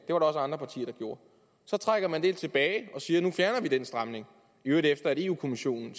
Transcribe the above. der også andre partier der gjorde så trækker man det tilbage og siger nu fjerner vi den stramning i øvrigt efter at europa kommissionen